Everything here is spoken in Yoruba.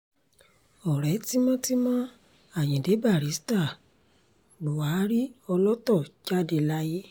ọ̀rẹ́ tímọ́tímọ́ ayíǹde barister buhari ọlọ́tọ̀ jáde láyé